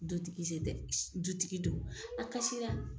Dutigi tɛ dutigi do a kasira.